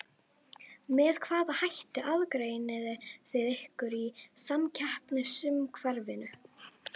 Með hvaða hætti aðgreinið þið ykkur í samkeppnisumhverfinu?